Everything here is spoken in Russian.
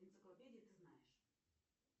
энциклопедии ты знаешь